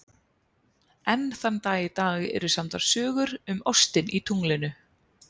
enn þann dag í dag eru samdar sögur um ostinn í tunglinu